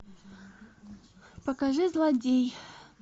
покажи злодей